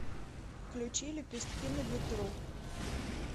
включи лепестки на ветру